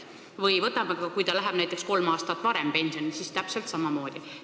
Või võtame, et inimene läheb näiteks kolm aastat varem pensionile – siis on täpselt samamoodi.